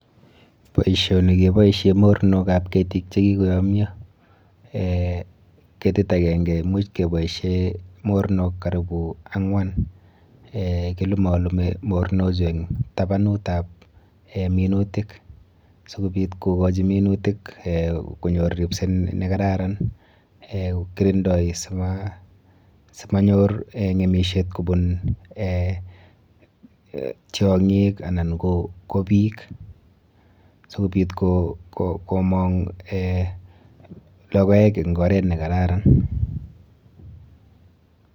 Boisioni keboishe mornokap ketik chekikoyomyo eh ketit akenke imuch keboishe mornok karibu ang'wan. Eh kilulolume mornochu eng tabanutap minutik sikobit kokochi minutik eh konyor ripset nekararan eh kirindoi simanyor ng'emishet kobun tiong'ik anan ko biik sikobit komong eh logoek eng oret nekararan.